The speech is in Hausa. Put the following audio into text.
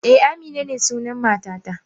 Eh, Amina ne sunan matata.